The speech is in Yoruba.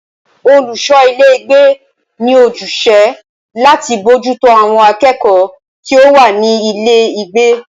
Olùṣọ ilé ìgbé ní ojúṣe láti bójútó àwọn akẹ́kọ̀ọ́ tí o wá ní ilé ìgbé.